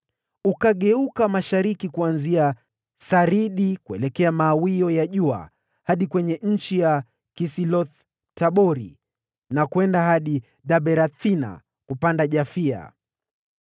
Ukageuka mashariki, kuanzia Saridi kuelekea mawio ya jua hadi kwenye nchi ya Kisiloth-Tabori, na kwenda hadi Daberathi, kupanda Yafia.